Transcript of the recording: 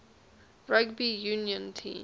rugby union team